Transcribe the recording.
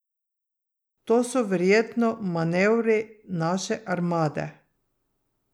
To so verjetno manevri naše armade.